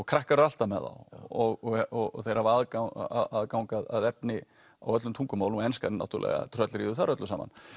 krakkar eru alltaf með þá og þeir hafa aðgang aðgang að efni á öllum tungumálum og enskan náttúrulega tröllríður þar öllu saman